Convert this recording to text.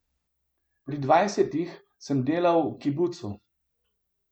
Pri dvajsetih sem delal v kibucu ...